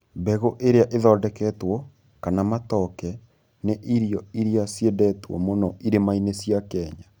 Mbegũ iria ithondeketwo, kana matoke, nĩ irio iria ciendetwo mũno irĩma-inĩ cia Kenya.